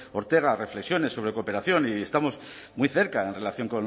ortega reflexiones sobre cooperación y estamos muy cerca en relación